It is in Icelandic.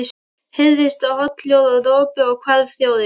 Heyrðist þá holhljóð og ropi og hvarf þjórinn.